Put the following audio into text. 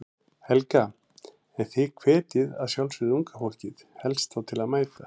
Helga: En þið hvetjið að sjálfsögðu unga fólkið helst þá til að mæta?